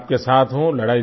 मैं आपके साथ हूँ